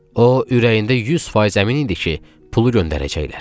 O ürəyində 100% əmin idi ki, pulu göndərəcəklər.